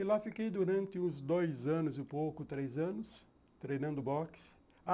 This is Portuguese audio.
E lá fiquei durante uns dois anos e pouco, três anos, treinando boxe.